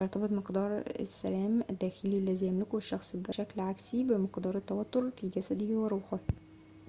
يرتبط مقدارُ السلام الداخلي الذي يملكه الشخص بشكل عكسي بمقدار التوتر في جسده وروحه